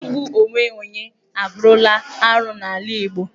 Igbu onwe onye abụrụla arụ n'ala Igbo.